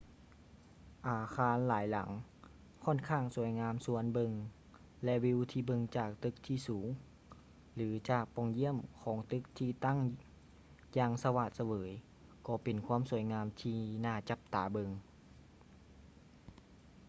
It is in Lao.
ອາຄານຫຼາຍຫຼັງ ຄ້ອນຂ້າງສວຍງາມຊວນເບິ່ງ ແລະ ວີວທີ່ເບິ່ງຈາກຕຶກທີ່ສູງ ຫຼື ຈາກປ່ອງຢ້ຽມຂອງຕຶກທີ່ຕັ້ງຢ່າງສະຫວາດສະເຫວີຍກໍເປັນຄວາມງາມທີ່ໜ້າຈັບຕາເບິ່ງ